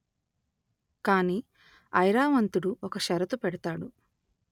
కాని ఐరావంతుడు ఒక షరతు పెడతాడు